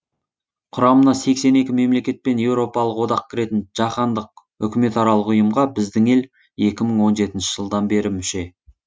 құрамына сексен екі мемлекет пен еуропалық одақ кіретін жаһандық үкіметаралық ұйымға біздің ел екі мың он жетінші жылдан бері мүше